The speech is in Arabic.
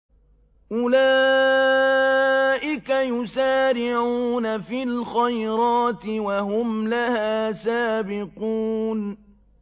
أُولَٰئِكَ يُسَارِعُونَ فِي الْخَيْرَاتِ وَهُمْ لَهَا سَابِقُونَ